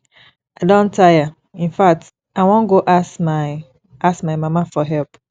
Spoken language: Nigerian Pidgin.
i don tire in fact i wan go ask my ask my mama for help